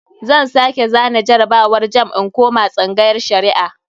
Zan sake zana jarabawar jamb in koma tsangayar Shari'a.